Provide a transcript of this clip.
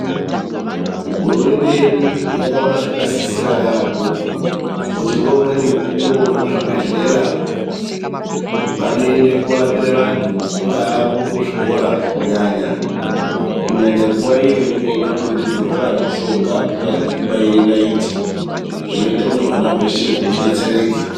Hurumende yedu yakaona zvakasisira yamho kuti ngoumweni mukwo vemuzvibhehlera vanoende korapira vanhu kunga kuri kuzvikora kunyanya, kunyanya nguwa iyo inenge ichide kudonhedzerwe vana mushonga kunyazwi kubaire naiti zvinoite kuti hwana hweshe hudetsereke.